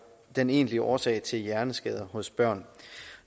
den egentlige årsag til hjerneskader hos børn